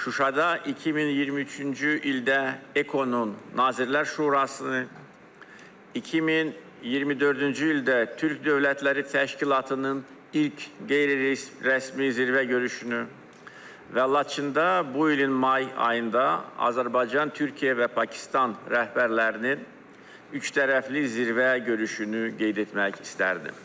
Şuşada 2023-cü ildə Ekonun Nazirlər Şurasını, 2024-cü ildə Türk Dövlətləri Təşkilatının ilk qeyri-rəsmi zirvə görüşünü və Laçında bu ilin may ayında Azərbaycan, Türkiyə və Pakistan rəhbərlərinin üçtərəfli zirvə görüşünü qeyd etmək istərdim.